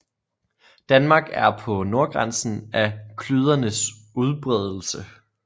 Danmark er på nordgrænsen af klydernes udbredelse